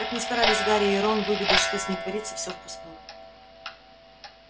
как ни старались гарри и рон выведать что с ней творится все впустую